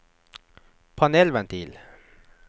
panelventil